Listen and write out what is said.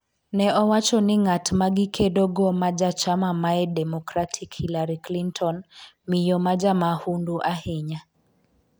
ne owacho ni ng'at magikedo go ma jachama mae Democratic Hillary clinton ''miyo majamahundu ahinya''